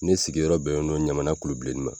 Ne sigiyɔrɔ bɛnnen don ɲamana kulu bilenni ma